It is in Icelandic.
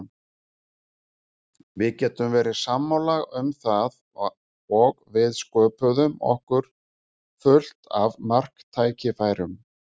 Við getum verið sammála um það og við sköpuðum okkur fullt af marktækifærum.